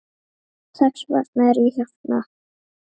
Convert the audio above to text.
Þess vegna er ég hérna.